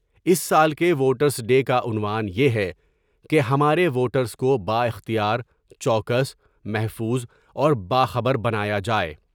اس سال کے voters day کاعنوان یہ ہے کہ ہمارے ووٹرس کو با اختیار ، چوکس محفوظ اور باخبر بنایا جائے ۔